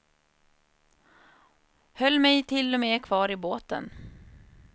Höll mig till och med kvar i båten.